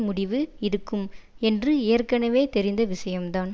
முடிவு இருக்கும் என்று ஏற்கனவே தெரிந்த விஷயம்தான்